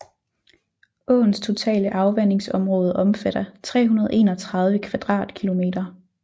Åens totale afvandingsområde omfatter 331 kvadratkilometer